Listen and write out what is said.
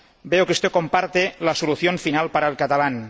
Veo que usted comparte la solución final para el catalán.